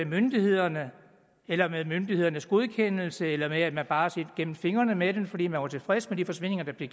myndighederne eller med myndighedernes godkendelse eller også har man bare set gennem fingre med dem fordi man var tilfreds med de forsvindinger der blev